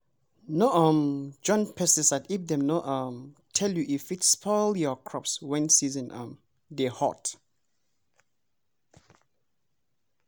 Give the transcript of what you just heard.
no um join pesticide if dem no um tell you e fit spoil your crops when season um dey hot.